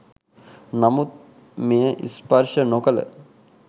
නමුත් මෙය ස්පර්ශ නොකළ